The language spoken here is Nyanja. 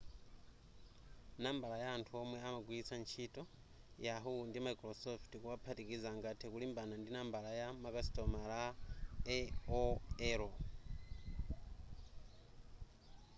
nambala ya anthu womwe amagwilitsa yahoo ndi microsoft kuwaphatikiza angathe kulimbana ndi nambala ya makasitomala aol